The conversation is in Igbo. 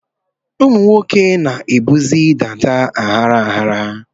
Ụmụ nwoke na-ebuzi dàdá aghara aghara.